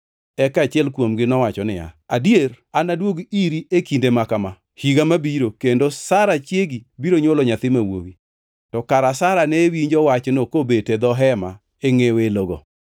Eka achiel kuomgi nowacho niya, “Adier anaduog iri e kinde maka ma higa mabiro kendo Sara chiegi biro nywolo nyathi ma wuowi.” To kara Sara ne winjo wachno kobet e dho hema e ngʼe welogo.